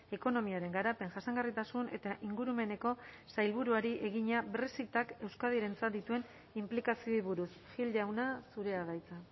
ekonomiaren garapen jasangarritasun eta ingurumeneko sailburuari egina brexitak euskadirentzat dituen inplikazioei buruz gil jauna zurea da hitza